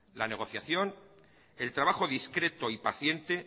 la negociación el trabajo discreto y paciente